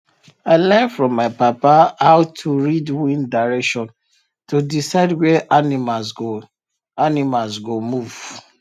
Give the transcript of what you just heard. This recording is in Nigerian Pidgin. i learn from my papa how to read wind direction to decide where animals go animals go move